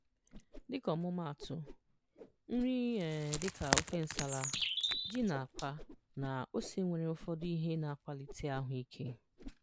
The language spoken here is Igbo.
Dịka ọmụmaatụ, nri um dị ka ofe nsala, ji na àkwá, na ose nwere ụfọdụ ihe na-akwalite ahụ ike.